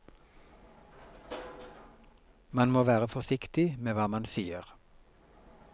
Man må være forsiktig med hva man sier.